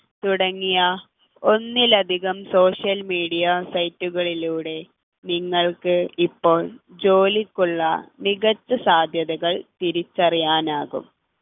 തുടങ്ങിയ ഒന്നിലധികം social media site കളിലൂടെ നിങ്ങൾക്ക് ഇപ്പോൾ ജോലിക്കുള്ള മികച്ച സാധ്യതകൾ തിരിച്ചറിയാനാവും തുടങ്ങി